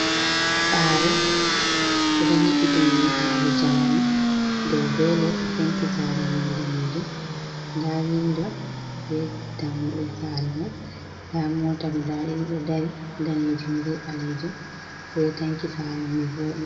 Saare ɓe ɗo nyiɓi dum nyiɓalo jamanu dow be les, penti saare mai danejum, nda windo be dammuɗe saare mai, nda mota guda ɗiɗi ɗo dari, danejum be balejum, ɓe ɗo tanki saare mai vode.